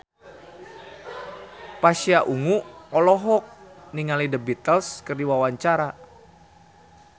Pasha Ungu olohok ningali The Beatles keur diwawancara